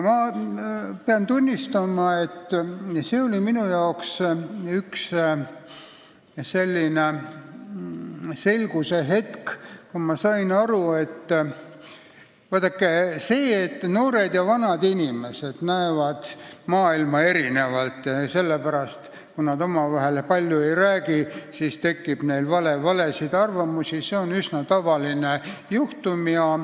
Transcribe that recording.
Ma pean tunnistama, et see oli minu jaoks üks arusaamise hetk, kui ma sain aru, et noored ja vanad inimesed näevad maailma erinevalt ja kui nad omavahel palju ei räägi, siis neil tekib valesid arusaamasid.